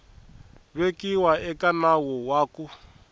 vekiwa eka nawu wa ku